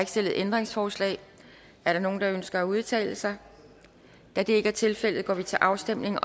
stillet ændringsforslag er der nogen der ønsker at udtale sig da det ikke er tilfældet går vi til afstemning